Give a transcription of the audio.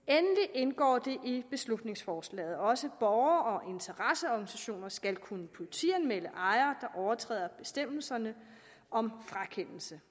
indgår det i beslutningsforslaget at også borgere og interesseorganisationer skal kunne politianmelde ejere der overtræder bestemmelserne om frakendelse